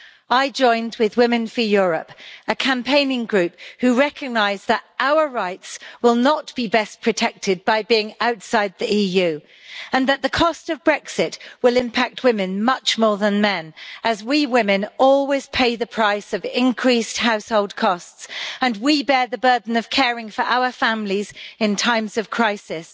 I joined with Women for Europe, a campaigning group who recognise that our rights will not be best protected by being outside the EU and that the cost of Brexit will impact on women much more than men, as we women always pay the price of increased household costs and we bear the burden of caring for our families in times of crisis.